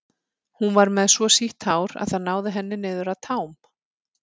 Hún var með svo sítt hár að það náði henni niður að tám.